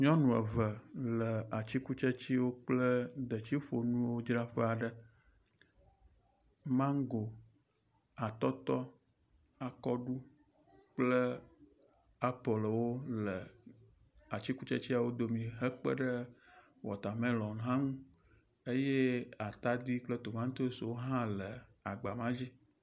Nyɔnu le atikutsetswo kple detsiƒonuwodzraƒe aɖe. Mago, atɔtɔ, akɔɖu kple apelwo le atikutsetseawo dome hekpe ɖe watɔmelɔn hã ŋu eye atadi kple tomatosiwo hã le agba ma dzi.